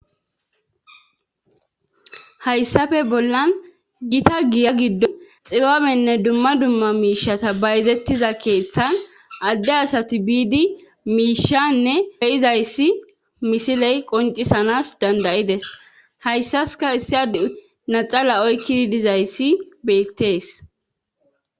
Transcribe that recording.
hayssafe bollan gita giya giddo xibabenne dumma dumma miishata bayzettiza keeththan adde asati biidi miishanne be7izayssi misiley qoncisanas danda7ides hayssaska issi adey naxala oykkidi dizayssi beettees.